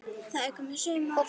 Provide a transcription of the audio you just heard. Það er komið sumar.